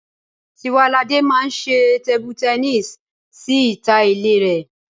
Tiwaladé máa ṣe tébú tẹníìsì sí ìta ilé rẹ